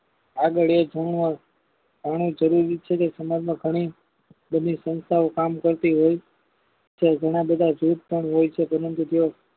આગળ એક કર્ણ જરૂરી છે કે સમાજ માં ઘણી બધી સંસ્થા કામ કરતી હોય છે ઘણા બધા જૂથ પણ હોય છે પરંતુ તે